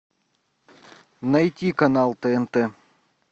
найти канал тнт